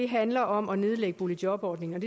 handler om at nedlægge boligjobordningen